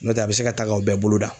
Nɔtɛ a bɛ se ka taa k'aw bɛɛ bolo dan.